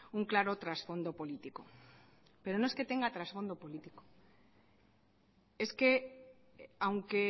un claro trasfondo político pero no es que tenga trasfondo político es que aunque